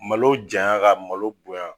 Malo jayan ka malo bonya